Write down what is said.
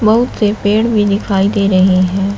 बहोत से पेड़ भी दिखाई दे रहे हैं।